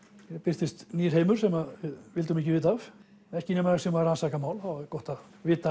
hér birtist nýr heimur sem við vildum ekki vita af ekki nema við séum að rannsaka mál þá er gott að vita